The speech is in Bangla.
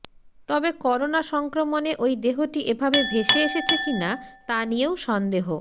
তবে করোণা সংক্রমণে ওই দেহটি এভাবে ভেসে এসেছে কিনা তা নিয়েও সন্দেহ